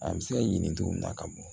A bɛ se ka ɲini cogo min na ka bɔ